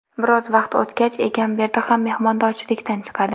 Biroz vaqt o‘tgach, Egamberdi ham mehmondorchilikdan chiqadi.